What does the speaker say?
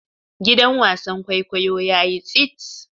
Gidan wasan kwaikwayo yayi tsit.